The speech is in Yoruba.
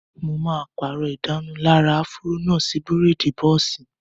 Mo máa pàrọ̀ ìdárunlárà áfúró náà sí bírèèdì bọ́ọ̀sì